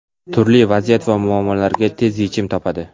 turli vaziyat va muammolarga tez yechim topadi.